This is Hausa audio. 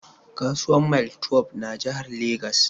Kasuwar Mile twelbe ya na Jahar Legas